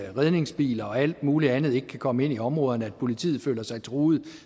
at redningsbiler og alt muligt andet ikke kan komme ind i områderne og politiet føler sig truet